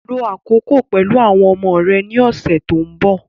Lo àkókò pẹ̀lú àwọn ọmọ rẹ ní ọ̀sẹ̀ tó ń bọ̀